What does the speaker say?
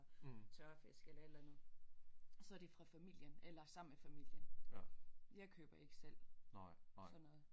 Tørfisk eller et eller andet så er det fra familien eller sammen med familien jeg køber ikke selv sådan noget